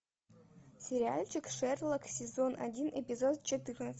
сериальчик шерлок сезон один эпизод четырнадцать